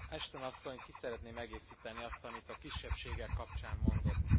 Ashton Asszony! Szeretném kiegészíteni azt, amit a kisebbségek kapcsán mondott.